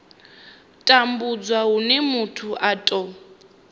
tambudzwa hune muthu a tou